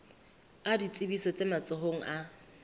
a ditsebiso tse matsohong a